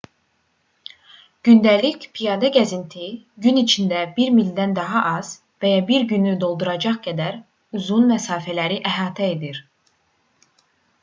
gündəlik piyada gəzinti gün içində bir mildən daha az və ya bir günü dolduracaq qədər uzun məsafələri əhatə edir